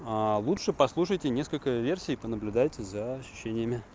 аа лучше послушайте несколько версий и понаблюдайте за ощущениями